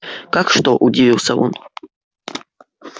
как что удивился он